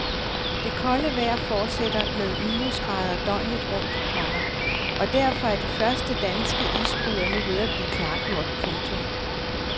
Det kolde vejr fortsætter med minusgrader døgnet rundt, komma og derfor er de første danske isbrydere nu ved at blive klargjort. punktum